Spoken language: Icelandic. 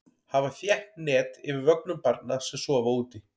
Hafa þétt net yfir vögnum barna sem sofa úti.